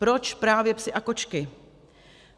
Proč právě psi a kočky?